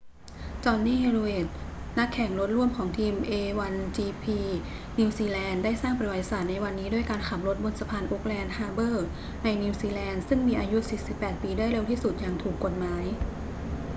jonny reid นักแข่งรถร่วมของทีม a1gp นิวซีแลนด์ได้สร้างประวัติศาสตร์ในวันนี้ด้วยการขับรถบนสะพานโอ๊คแลนด์ฮาร์เบอร์ในนิวซีแลนด์ซึ่งมีอายุ 48 ปีได้เร็วที่สุดอย่างถูกกฎหมาย